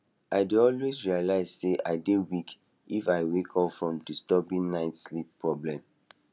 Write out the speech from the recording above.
i dey always realize sey i dey weak if i wake up from disturbing night sleep problem